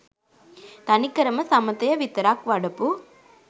තනිකරම සමථය විතරක් වඩපු